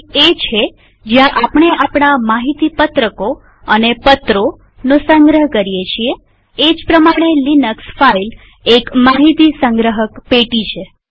file એ છે જ્યાં આપણે આપણા માહિતી પત્રકોડોક્યુમેન્ટ્સ અને પત્રોપેપર્સનો સંગ્રહ કરીએ છીએએ જ પ્રમાણે લિનક્સ ફાઈલ એક માહિતી સંગ્રહક પેટી છે